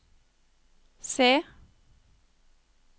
se